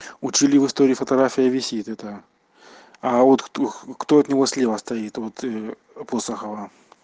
учили в истории фотографии висит это а вот кто-кто от него слева стоит вот просто хава